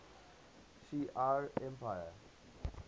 shi ar empire